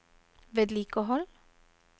vedlikehold